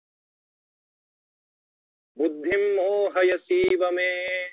बुद्धि मोहयसीव मे